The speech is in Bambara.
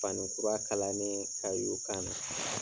Fani kura kalannen ka y'i kan na.